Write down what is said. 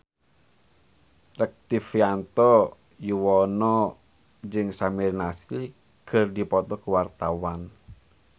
Rektivianto Yoewono jeung Samir Nasri keur dipoto ku wartawan